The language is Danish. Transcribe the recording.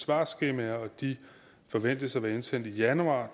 svarskemaer og de forventes at være indsendt i januar